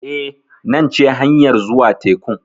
Eh, nan ce hanyar zuwa tekun.